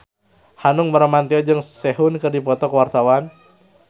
Hanung Bramantyo jeung Sehun keur dipoto ku wartawan